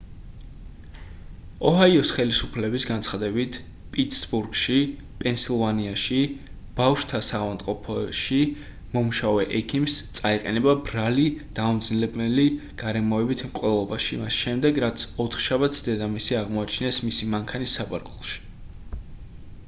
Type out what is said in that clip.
ოჰაიოს ხელისუფლების განცხადებით პიტსბურგში პენსილვანიაში ბავშვთა საავადმყოფოში მომუშავე ექიმს წაეყენება ბრალი დამამძიმებელი გარემოებით მკვლელობაში მას შემდეგ რაც ოთხშაბათს დედამისი აღმოაჩინეს მისი მანქანის საბარგულში